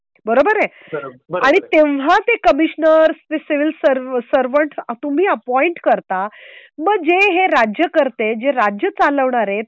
बरोबर आहे. आणि तेव्हा ते कमिशनर्स असेल सिव्हिल सर्व सर्व्हन्ट तुम्ही अपॉईंट करता म्हणजे हे राज्यकर्ते जे राज्य चालवणार आहे.